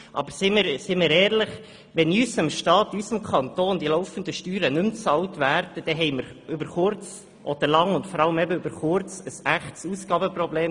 Aber seien wir ehrlich, wenn in unserem Staat, in unserem Kanton, die laufenden Steuern nicht mehr bezahlt werden, haben wir über kurz oder lang – vor allem über kurz – ein echtes Ausgabenproblem.